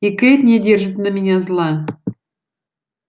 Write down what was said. и кэйд не держит на меня зла